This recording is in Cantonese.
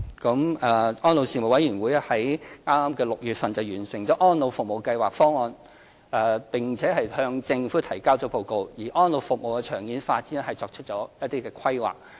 安老事務委員會剛於今年6月完成《安老服務計劃方案》，並向政府提交報告，就安老服務的長遠發展作出規劃。